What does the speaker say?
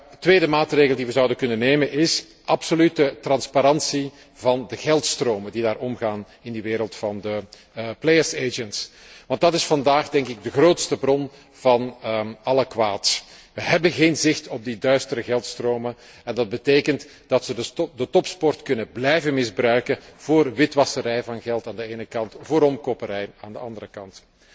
Een tweede maatregel die we zouden kunnen nemen, is absolute transparantie van de geldstromen die daar omgaan in de wereld van de spelersmakelaars, want dat is vandaag de grootste bron van alle kwaad. We hebben geen zicht op die duistere geldstromen, en dat betekent dat ze de topsport kunnen blijven gebruiken voor het witwassen van geld aan de ene kant, voor omkoperij aan de andere kant.